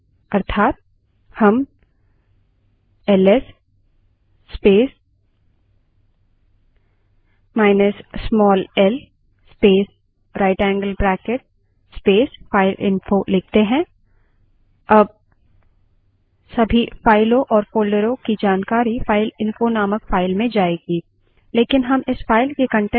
command के बाद right angle bracket और file के name को type करें अर्थात हम ls space minus small l space right angle bracket space fileinfo लिखते हैं